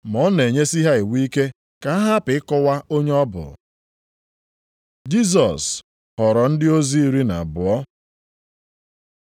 Ma ọ na-enyesi ha iwu ike ka ha hapụ ịkọwa onye ọ bụ. Jisọs họrọ ndị ozi iri na abụọ